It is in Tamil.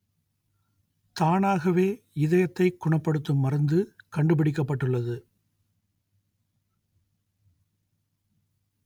தானாகவே இதயத்தைக் குணப்படுத்தும் மருந்து கண்டுபிடிக்கப்பட்டுள்ளது